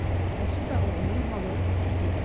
Onsuz da oğlunun halı pis idi.